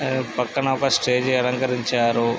ఆ పక్కన ఒక స్టేజ్ అలంకరించారు.